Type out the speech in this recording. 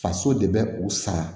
Faso de bɛ u sara